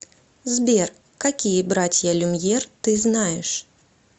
сбер какие братья люмьер ты знаешь